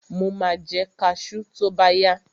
Mo ma jẹ kaṣú tóbáyá.